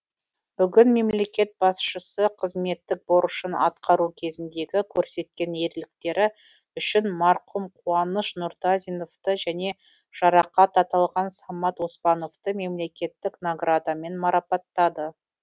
бүгін мемлекет басшысы қызметтік борышын атқару кезіндегі көрсеткен ерліктері үшін марқұм қуаныш нұртазиновты және жарақат аталған самат оспановты мемлекеттік наградамен марапаттады